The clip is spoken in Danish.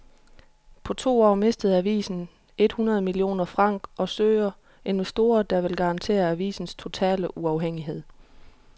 På to år mistede avisen et hundrede millioner franc og søger investorer, der vil garantere avisens totale uafhængighed.